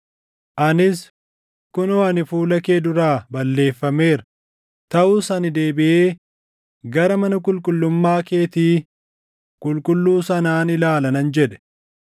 Anis, ‘Kunoo ani fuula kee duraa balleeffameera; taʼus ani deebiʼee gara mana qulqullummaa keetii qulqulluu sanaan ilaala’ nan jedhe.